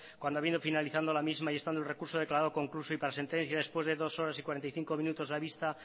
cuando vino finalizando la misma y estando el recurso declarado concluso y para sentencia después de dos horas y cuarenta y cinco minutos la vista